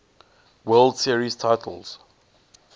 world series titles